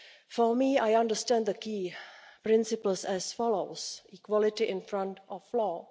For me, I understand the key principles as follows equality before the law